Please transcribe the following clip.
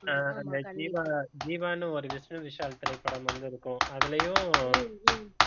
ஆஹ் அந்த ஜீவா ஜீவான்னு ஒரு விஷ்ணு விஷால் திரைப்படம் வந்திருக்கும் அதுலயும்